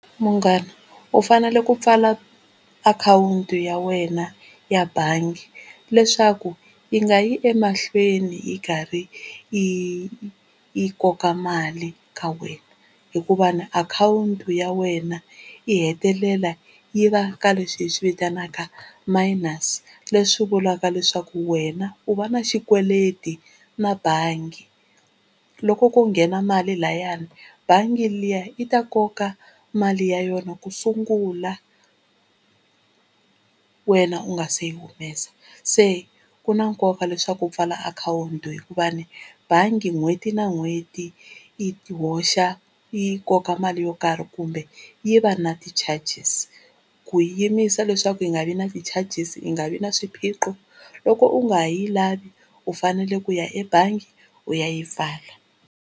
Munghana u fanele ku pfala akhawunti ya wena ya bangi leswaku yi nga yi emahlweni yi karhi yi yi koka mali ka wena, hikuva na akhawunti ya wena yi hetelela yi va ka leswi hi swi vitanaka minus leswi vulaka leswaku wena u va na xikweleti na bangi. Loko ko nghena mali layani bangi liya yi ta koka mali ya yona ku sungula wena u nga se yi humesa. Se ku na nkoka leswaku u pfala akhawunti hikuva bangi n'hweti na n'hweti i hoxa yi koka mali yo karhi kumbe yi va na ti-charges. Ku yimisa leswaku yi nga vi na ti-charges yi nga vi na swiphiqo loko u nga ha yi lavi u fanele ku ya ebangi u ya yi pfala.